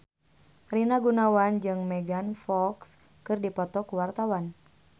Rina Gunawan jeung Megan Fox keur dipoto ku wartawan